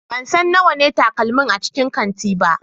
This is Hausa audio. Ban san nawa ne takalmin a cikin kantin ba.